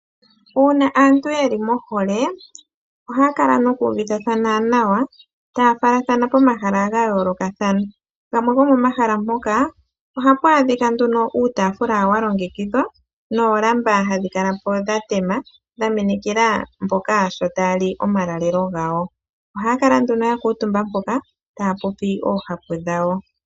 Uuna aantu ye li mohole, ohaa kala noku uvithathana nawa, taa falathana komahala ga yoolokathana. Gamwe gopomahala mpoka, oha pu adhika uutaafula wa longekidhwa noolamba hadhi kala po dha tema, dha minikila mboka sho taa li omalalelo gawo. Ohaa kala nduno ya kuutumba mpoka taa popi oohapu dhawo.